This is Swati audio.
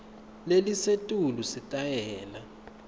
lelisetulu sitayela